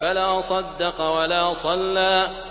فَلَا صَدَّقَ وَلَا صَلَّىٰ